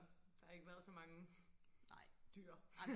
der har ikke været så mange dyr